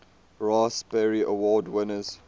raspberry award winners